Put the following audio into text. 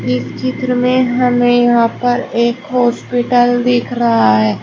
इस चित्र में हमें यहां पर एक हॉस्पिटल दिख रहा है।